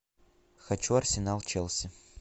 хочу арсенал челси